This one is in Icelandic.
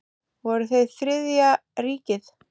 Voru þeir Þriðja ríkið?